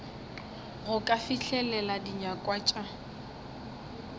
go ka fihlelela dinyakwa tša